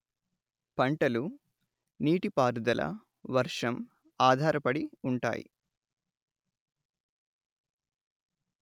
పంటలు నీటిపారుదల వర్షం ఆధారపడి ఉంటాయి